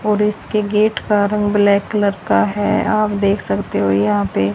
और इसके गेट का रंग ब्लैक कलर का है आप देख सकते हो यहां पे--